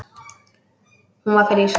Hún var frísk.